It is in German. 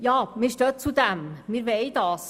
Wir stehen dazu, dass wir das wollen.